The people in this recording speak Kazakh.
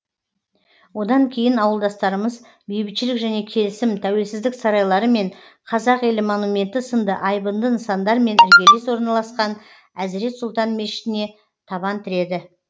одан кейін ауылдастарымыз бейбітшілік және келісім тәуелсіздік сарайлары мен қазақ елі монументі сынды айбынды нысандармен іргелес орналасқан әзірет сұлтан мешітіне табан тіреді